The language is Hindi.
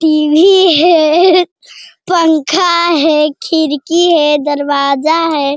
टी.वी. है पंखा है खिड़की है दरवाजा है।